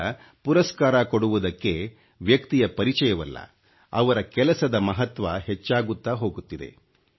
ಈಗ ಪುರಸ್ಕಾರ ಕೊಡುವುದಕ್ಕೆ ವ್ಯಕ್ತಿಯ ಪರಿಚಯವಲ್ಲ ಅವರ ಕೆಲಸದ ಮಹತ್ವ ಹೆಚ್ಚಾಗುತ್ತಾ ಹೋಗುತ್ತಿದೆ